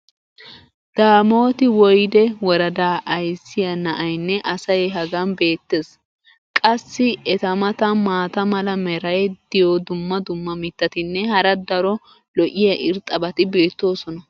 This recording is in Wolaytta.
daamooti woyde woradaa ayssiya na"aynne asay hagan beetees. qassi eta matan maata mala meray diyo dumma dumma mitatinne hara daro lo'iya irxxabati beetoosona.